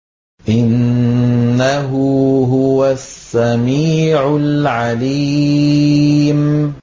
إِنَّهُ هُوَ السَّمِيعُ الْعَلِيمُ